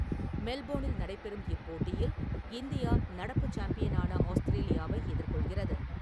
மெல்போனில் நடைபெறும் இப் போட்டியில் இந்தியா– நடப்புச் சாம்பியனான ஆஸ்திரேலியாவை எதிர் கொள்கிறது.